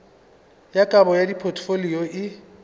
ya kabo ya dipotfolio e